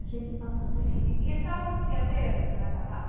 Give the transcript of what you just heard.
A gente passa tanta coisa. E e a senhora não tinha medo de andar a cavalo?